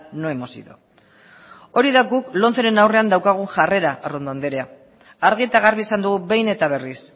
no hemos ido hori da guk lomceren aurrean daukagun jarrera arrondo andrea argi eta garbi esan dugu behin eta berriz